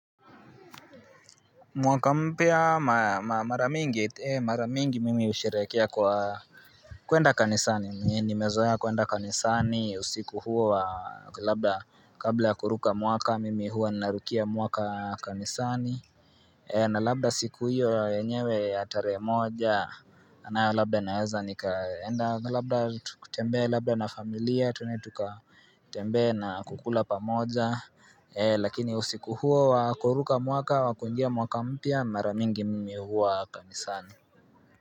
Mwaka mpya mara mingi mimi husherehekea kwa kuenda kanisani nimezoea kuenda kanisani usiku huo wa labda kabla ya kuruka mwaka mimi huwa narukia mwaka kanisani na labda siku hiyo yenyewe ya tarehe moja na labda naeza nikaenda na labda tutembee labda na familia twende tukatembee na kukula pamoja Lakini usiku huo wa kuruka mwaka wa kuingia mwaka mpya mara mingi mimi huwa kanisani.